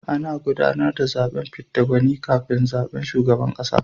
Ana gudanar da zaben fidda gwani kafin zaben shugaban kasa.